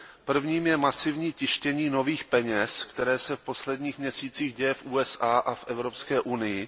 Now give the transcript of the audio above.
Prvním je masivní tištění nových peněz, které se v posledních měsících děje v USA a v Evropské unii.